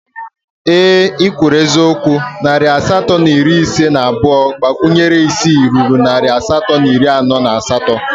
Ee ị kwuru eziokwu, narị asatọ na iri ise na abụọ gbakwunyere isii ruru narị asatọ na iri anọ na asatọ